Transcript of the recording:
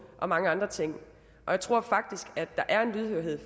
og mange andre ting og jeg tror faktisk der er en lydhørhed